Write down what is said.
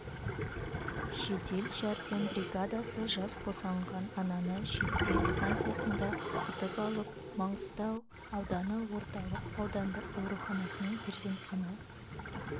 жедел жәрдем бригадасы жас босанған ананы шетпе станциясында күтіп алып маңғыстау ауданы орталық аудандық ауруханасының перзентхана